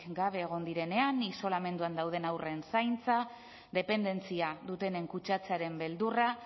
gabe egon direnean isolamenduan dauden haurren zaintza dependentzia dutenen kutsatzearen beldurra